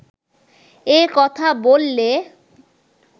এ কথা বললে